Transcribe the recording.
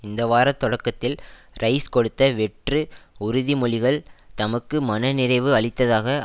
இந்த வார தொடக்கத்தில் ரைஸ் கொடுத்த வெற்று உறுதி மொழிகள் தமக்கு மன நிறைவு அளித்ததாக